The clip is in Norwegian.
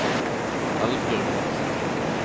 Eldbjørg Madsen